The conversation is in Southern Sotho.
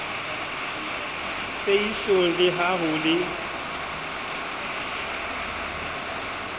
peisong le ha ho le